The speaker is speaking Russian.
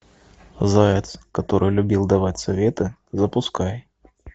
заяц который любил давать советы запускай